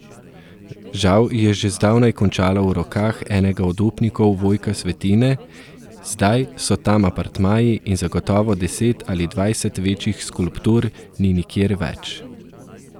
Žal je že zdavnaj končala v rokah enega od upnikov Vojka Svetine, zdaj so tam apartmaji in zagotovo deset ali dvajset večjih skulptur ni nikjer več.